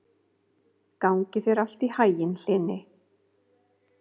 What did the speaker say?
Gangi þér allt í haginn, Hlini.